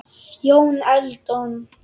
Jón Eldon